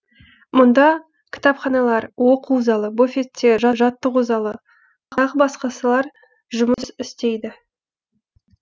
мұнда кітапханалар оқу залы буфеттер жаттығу залы тағы басқасылар жұмыс істейді